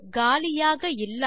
காலியாக இல்லாத